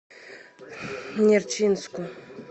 нерчинску